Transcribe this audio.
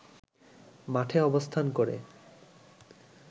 মাঠে অবস্থান করে